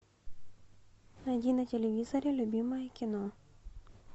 найди на телевизоре любимое кино